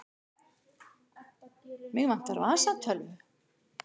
Mig vantar vasatölvu.